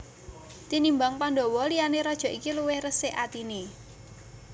Tinimbang Pandhawa liyane raja iki luwih resik atine